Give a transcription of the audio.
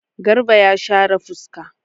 Garba ya share fuska.